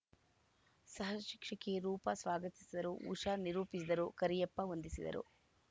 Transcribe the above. ಸಹಶಿಕ್ಷಕಿ ರೂಪ ಸ್ವಾಗತಿಸಿದರು ಉಷಾ ನಿರೂಪಿಸಿದರು ಕರಿಯಪ್ಪ ವಂದಿಸಿದರು